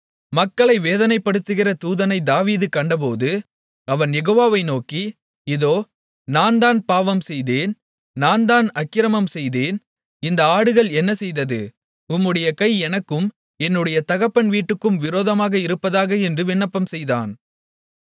மக்களை வேதனைப்படுத்துகிற தூதனை தாவீது கண்டபோது அவன் யெகோவாவை நோக்கி இதோ நான்தான் பாவம் செய்தேன் நான்தான் அக்கிரமம் செய்தேன் இந்த ஆடுகள் என்ன செய்தது உம்முடைய கை எனக்கும் என்னுடைய தகப்பன் வீட்டுக்கும் விரோதமாக இருப்பதாக என்று விண்ணப்பம்செய்தான்